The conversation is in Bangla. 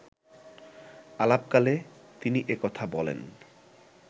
আলাপকালে তিনি এ কথা বলেন